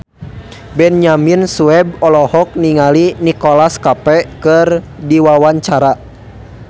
Benyamin Sueb olohok ningali Nicholas Cafe keur diwawancara